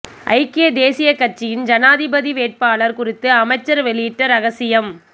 ஐக்கிய தேசியக் கட்சியின் ஜனாதிபதி வேட்பாளர் குறித்து அமைச்சர் வெளியிட்ட ரகசியம்